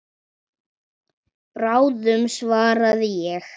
Bráðum svaraði ég.